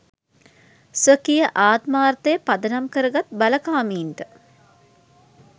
ස්වකීය ආත්මාර්ථය පදනම් කරගත් බලකාමින්ට